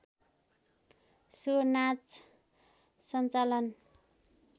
so नाच सञ्चालन